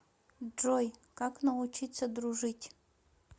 джой как научиться дружить